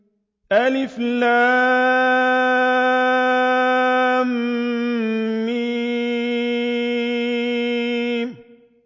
الم